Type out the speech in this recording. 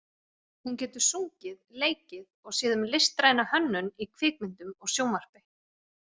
Hún getur sungið, leikið og séð um listræna hönnun í kvikmyndum og sjónvarpi.